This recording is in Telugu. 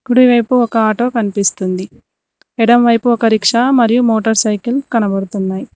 కుడి వైపు ఒక ఆటో కన్పిస్తుంది ఎడమ వైపు ఒక రిక్షా మరియు మోటర్ సైకిల్ కనపడుతున్నయ్.